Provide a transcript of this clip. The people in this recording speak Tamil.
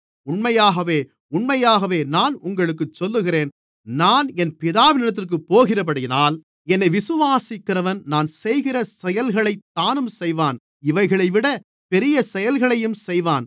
உண்மையாகவே உண்மையாகவே நான் உங்களுக்குச் சொல்லுகிறேன் நான் என் பிதாவினிடத்திற்குப் போகிறபடியினால் என்னை விசுவாசிக்கிறவன் நான் செய்கிற செயல்களைத் தானும் செய்வான் இவைகளைவிடப் பெரிய செயல்களையும் செய்வான்